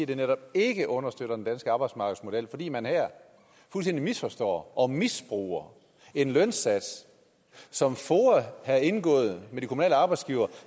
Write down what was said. det netop ikke understøtter den danske arbejdsmarkedsmodel fordi man her fuldstændig misforstår og misbruger en lønsats som foa har indgået med de kommunale arbejdsgivere